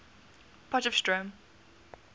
potchefstroom